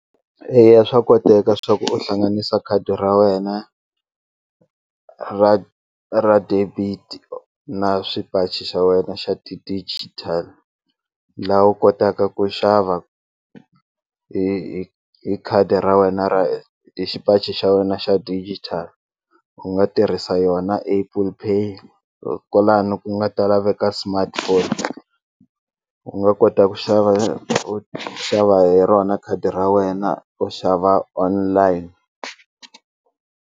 Eya swa koteka swa ku u hlanganisa khadi ra wena ra ra debit-i na swipachi xa wena xa la u kotaka ku xava hi hi hi khadi ra wena hi xipachi xa wena xa digital u nga tirhisa yona Apple Pay kwalano ku nga ta laveka smartphone u nga kota ku xava u xava hi rona khadi ra wena u xava online.